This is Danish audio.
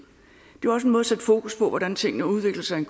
måde at sætte fokus på hvordan tingene udvikler sig i